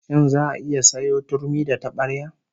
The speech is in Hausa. Shin za'a iya sayo turmi da tabarya?